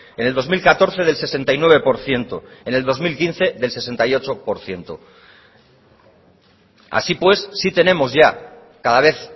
en el dos mil catorce del sesenta y nueve por ciento en el dos mil quince del sesenta y ocho por ciento así pues sí tenemos ya cada vez